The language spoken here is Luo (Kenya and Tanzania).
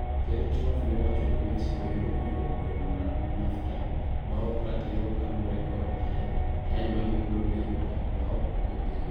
Ker Trump ne owacho ni Mexico yudo konyruok kuom NAFTA maok ratiro kaluwre kod ayany magigolo ne jodak maok jopinyno.